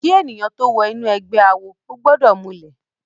Ki èniyán tó wò inú ègbè àwó ógbòdò múlè